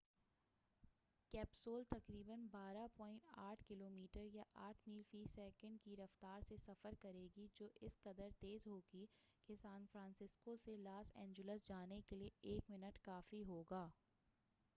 capsule تقریبا 12.8 kilometre یا 8 mile فی سیکنڈ کی رفتار سے سفر کرے گی جو اس قدر تیز ہوگی کہ سان فرانسسکو سے لاس اینجلس جانے کے لیے ایک منٹ کافی ہوگا